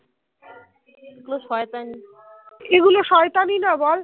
এগুলো শয়তানি না বল